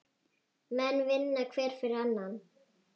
Menn vinna hver fyrir annan.